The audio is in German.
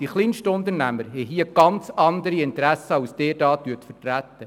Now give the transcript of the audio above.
Die KMU haben hier ganz andere Interessen, als Sie diese momentan vertreten.